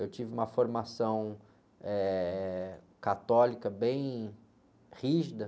Eu tive uma formação, eh, católica bem rígida.